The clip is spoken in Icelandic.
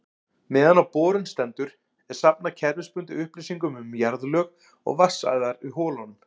Meðan á borun stendur er safnað kerfisbundið upplýsingum um jarðlög og vatnsæðar í holunum.